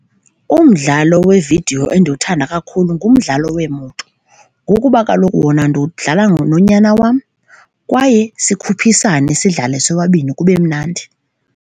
Umdlalo weevidiyo endiwuthanda kakhulu ngumdlalo weemoto ngokuba kaloku wona ndiwudlala nonyana wam kwaye sikhuphisane sidlale sobabini, kube mnandi.